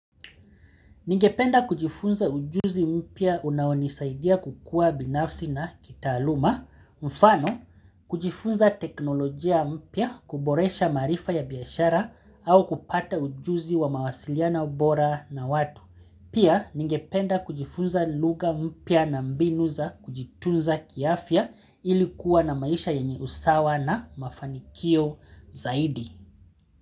Ningependa kujifunza ujuzi mpya unaonisaidia kukua binafsi na kitaaluma, mfano kujifunza teknolojia mpya kuboresha marifa ya biashara au kupata ujuzi wa mawasiliano bora na watu. Pia ningependa kujifunza lugha mpya na mbinu za kujitunza kiafya ili kuwa na maisha yenye usawa na mafanikio zaidi.